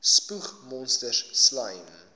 spoeg monsters slym